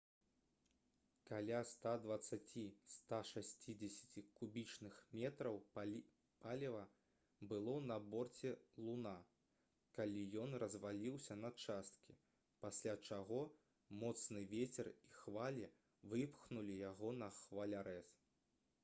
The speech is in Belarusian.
каля 120–160 кубічных метраў паліва было на борце «луна» калі ён разваліўся на часткі пасля чаго моцны вецер і хвалі выпхнулі яго на хвалярэз